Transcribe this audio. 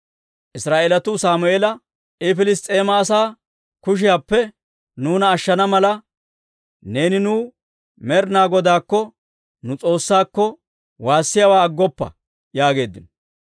Israa'eelatuu Sammeela, «I Piliss's'eema asaa kushiyaappe nuuna ashshana mala, neeni nuw Med'inaa Godaakko, nu S'oossaakko, woossiyaawaa aggoppa» yaageeddino.